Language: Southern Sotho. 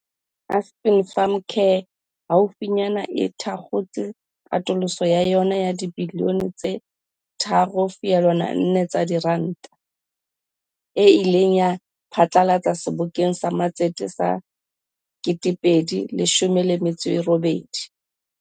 Aspen Pharmacare haufi nyane e thakgotse katoloso ya yona ya dibilione tse 3.4 tsa diranta, eo e ileng ya e pha tlalatsa Sebokeng sa Matsete sa 2018.